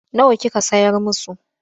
Nawa kika sayar musu?